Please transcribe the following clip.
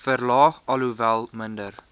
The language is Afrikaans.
verlaag alhoewel minder